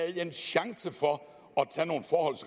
en chance for